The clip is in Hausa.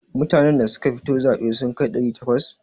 Mutanan da suka fito zaɓe sun kai ɗari takwas?